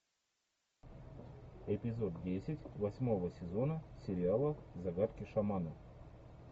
эпизод десять восьмого сезона сериала загадки шамана